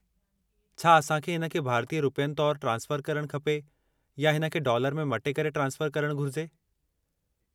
छा असां खे हिन खे भारतीय रुपयनि तौरु ट्रांसफ़रु करणु खपे या हिन खे डॉलर में मटे करे ट्रांसफ़रु करणु घुरिजे?